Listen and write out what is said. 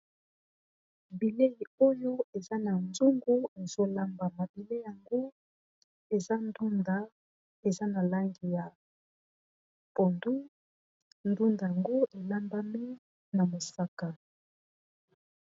Bilei oyo eza na nzungu ezolambama bilei yango eza ndunda eza na langi ya pondu ndunda yango elambami na mosaka.